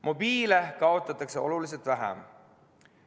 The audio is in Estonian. Mobiile kaotatakse oluliselt vähem.